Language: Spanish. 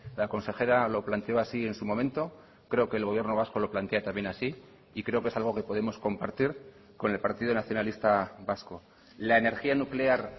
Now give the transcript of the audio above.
la consejera lo planteó así en su momento creo que el gobierno vasco lo plantea también así y creo que es algo que podemos compartir con el partido nacionalista vasco la energía nuclear